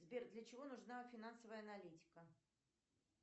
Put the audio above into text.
сбер для чего нужна финансовая аналитика